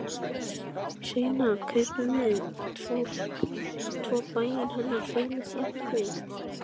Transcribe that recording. Seinna kaupum við svo bæinn hennar Fjólu frænku.